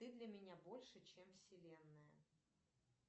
ты для меня больше чем вселенная